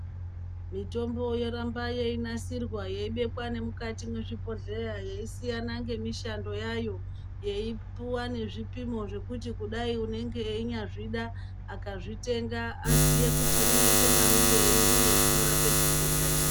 Mitombo yoramba yeinasirwa yeibekwa nemukati mwezvibhodhleya, yeisiyana ngemishando yayo, yeipuwa nezvipimo zvekuti kudai unenge einyazvida akazvitenga aziye kuti unoite mamwirei uye zvinorape chitenda chipi.